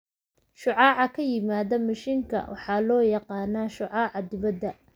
Shucaaca ka yimaada mishiinka waxaa loo yaqaan shucaaca dibadda.